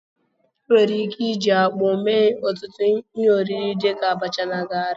Enwere ike iji akpụ mee ọtụtụ ihe oriri dịka abacha na garị